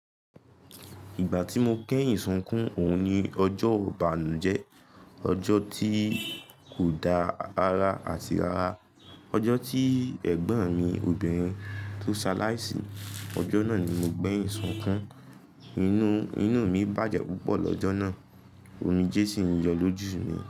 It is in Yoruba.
Ìgbà tí mo kẹ́yìn sukún, òun ni ọjọ́ ìbànújẹ́, ọjọ́ tí kò da rara àti rara, ọjọ́ tí ẹ̀gbọ́n mi obìnrin tó ṣaláìsí, ọjọ́ náà ni mo gbéyìn sọkún. Inú, inú mi bàjẹ́ púpọ̀ lọ́jọ́ náà, omijé sì ń yọ lójú mi.